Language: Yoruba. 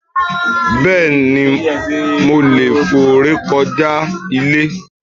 Béeni, mo leè fò rékoja ile